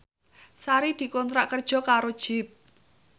Sari dikontrak kerja karo Jeep